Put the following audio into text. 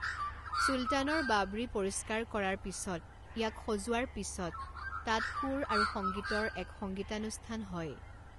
চুলতানৰ বাৱড়ী পৰিষ্কাৰ কৰাৰ পিছত, ইয়াক সজোৱাৰ পিছত, তাত, সুৰ আৰু সংগীতৰ এক সংগীতানুষ্ঠান হয়।